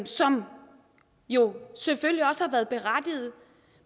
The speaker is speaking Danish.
som jo selvfølgelig også har været berettigede